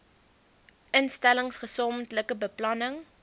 instellings gesamentlike beplanning